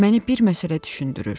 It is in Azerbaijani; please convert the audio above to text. Məni bir məsələ düşündürür.